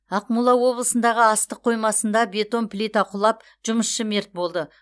ақмола облысындағы астық қоймасында бетон плита құлап жұмысшы мерт болды